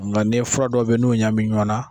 Nka ni fura dɔw bɛyi n'u ɲamina ɲɔgɔn na.